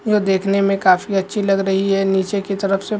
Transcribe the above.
यह देखने में काफी अच्छी लग रही हैं नीचे की तरफ से --